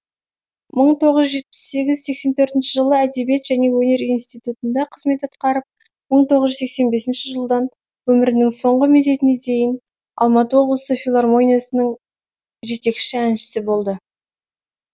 мың тоғыз жүз жетпіс сегіз сексен төртінші жылы әдебиет және өнер институтында қызмет атқарып мың тоғыз жүз сексен бесінші жылдан өмірінің соңғы мезетіне дейін алматы облысы филармониясының жетекші әншісі болды